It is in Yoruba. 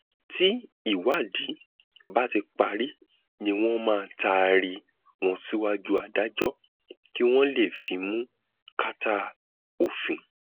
tí ìwádìí bá ti parí ni wọn máa taari wọn síwájú adájọ kí wọn lè fimú kàtà òfin